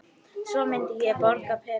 Svo myndi ég borga peninga